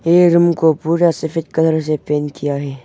ये रूम को पूरा सफेद कलर से पेंट किया है।